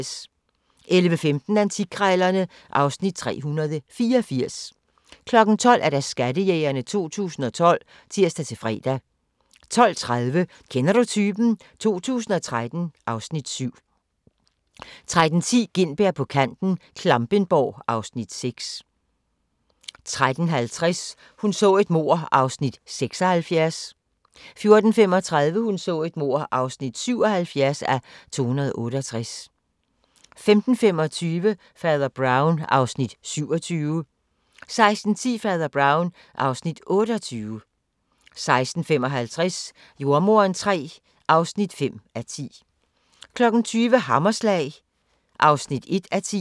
11:15: Antikkrejlerne (Afs. 384) 12:00: Skattejægerne 2012 (tir-fre) 12:30: Kender du typen? 2013 (Afs. 7) 13:10: Gintberg på kanten - Klampenborg (Afs. 6) 13:50: Hun så et mord (76:268) 14:35: Hun så et mord (77:268) 15:25: Fader Brown (Afs. 27) 16:10: Fader Brown (Afs. 28) 16:55: Jordemoderen III (5:10) 20:00: Hammerslag (1:10)